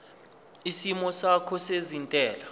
isimo sakho sezentela